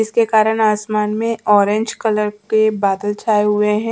इसके कारण आसमान में ऑरेंज कलर के बादल छाए हुए हैं।